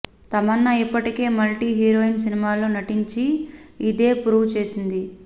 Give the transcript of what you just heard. తమన్నా ఇప్పటికే multi heroine సినిమాల్లో నటించి ఇదే ప్రూవ్ చేసింది